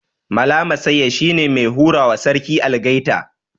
Mala Massaya shine mai hurawa Sarki Algaita